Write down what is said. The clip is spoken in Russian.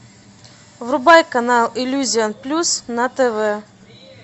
врубай канал иллюзион плюс на тв